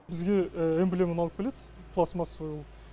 бізге эмблеманы алып келеді пластмассовый